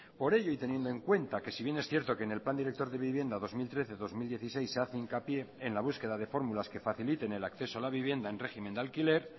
por ello y teniendo en cuenta que si bien es cierto que en el plan director de vivienda dos mil trece dos mil dieciséis se hace hincapié en la búsqueda de fórmulas que faciliten el acceso a la vivienda en régimen de alquiler